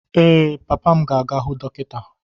Ee, papa m ga-aga hụ dọkịta.